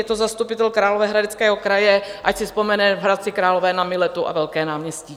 Je to zastupitel Královéhradeckého kraje, ať si vzpomene v Hradci Králové na Miletu a velké náměstí.